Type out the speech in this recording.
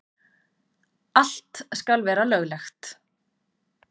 Allt skal vera löglegt.